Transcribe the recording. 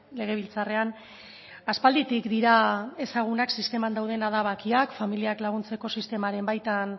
legebiltzarrean aspalditik dira ezagunak sisteman dauden adabakiak familiak laguntzeko sistemaren baita